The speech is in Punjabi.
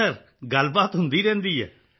ਹਾਂ ਸਰ ਗੱਲਬਾਤ ਹੁੰਦੀ ਰਹਿੰਦੀ ਹੈ